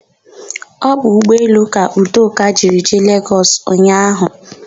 Ọ bụ ụgbọelu ka Udoka jiri jee Legọs ụnyaahụ.